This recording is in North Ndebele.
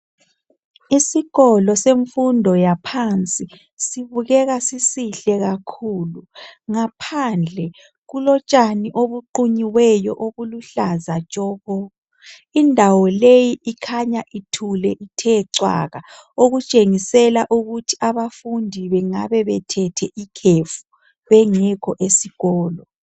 Isikolo semfundo yaphansi sibukeka sisihle kakhulu ngaphandle kulotshani obuqunyiweyo obuluhlaza tshoko indawo leyi ikhanya ithule ithe cwaka okutshengisela ukuthi abafundi bengabe bethethe ikhefu bengekho esikolo.